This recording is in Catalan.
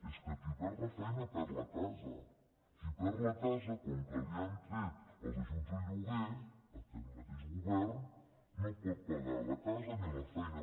és que qui perd la feina perd la casa qui perd la casa com que li ha tret els ajuts al lloguer aquest mateix govern no pot pagar la casa ni la feina